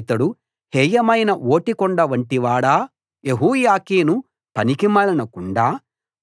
ఇతడు హేయమైన ఓటికుండ వంటివాడా యెహోయాకీను పనికిమాలిన కుండా